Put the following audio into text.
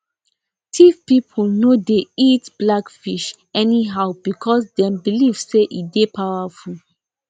tiv people no dey eat black fish anyhow because dem believe say e dey powerful